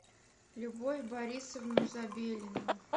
любовь борисовну забелину